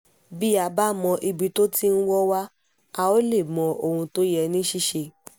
bí a bá mọ ibi tó ti wọ́ wa a óò lè mọ ohun tó yẹ ní ṣíṣe